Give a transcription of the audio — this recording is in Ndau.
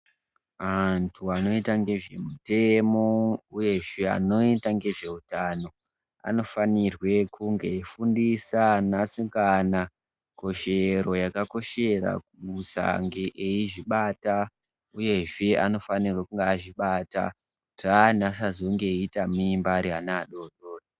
Antu anoita ngezvemutemo, uyezve anoita ngezveutano, anofanirwe kunge eifundisa anasikana, koshero yakakoshera kusange eizvibata, uyezve anofanirwe kunge aizvibata kuti asazoite mimba ari ana adoridori.